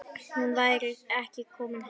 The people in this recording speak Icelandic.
Hún væri komin heim.